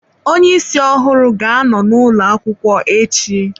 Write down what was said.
Onye isi ọhụrụ ga-anọ n'ụlọ akwụkwọ echi.